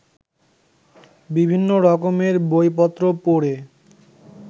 বিভিন্ন রকমের বইপত্র পড়ে